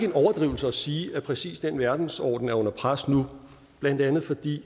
en overdrivelse at sige at præcis den verdensorden er under pres nu blandt andet fordi